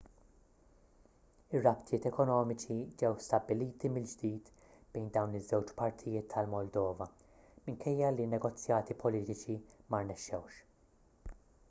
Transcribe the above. ir-rabtiet ekonomiċi ġew stabbiliti mill-ġdid bejn dawn iż-żewġ partijiet tal-moldova minkejja li ln-negozjati politiċi ma rnexxewx